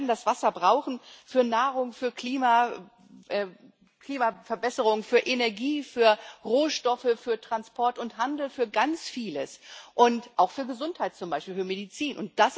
Wir werden das Wasser brauchen für Nahrung, für Klima, für Klimaverbesserung, für Energie, für Rohstoffe, für Transport und Handel für ganz vieles und auch für Gesundheit zum Beispiel, für Medizin.